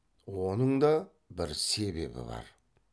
оның да бір себебі бар